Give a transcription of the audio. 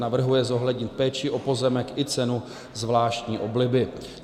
Navrhuje zohlednit péči o pozemek i cenu zvláštní obliby.